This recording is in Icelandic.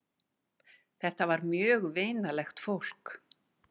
Þetta var mjög vinalegt fólk.